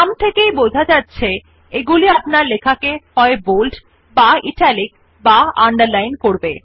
নাম থেকেই বোঝা যাচ্ছে এগুলি আপনার লেখাকে হয় বোল্ড বা ইটালিক বা আন্ডারলাইন করা হবে